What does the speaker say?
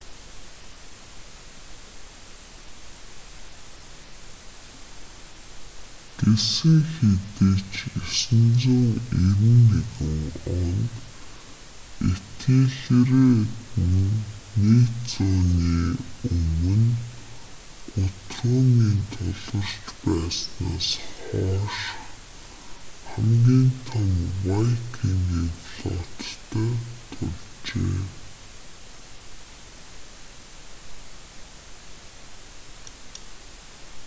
гэсэн хэдий ч 991 онд этельред нь нэг зууны өмнө гутрумын тулгарч байснаас хойших хамгийн том вайкингийн флоттой тулжээ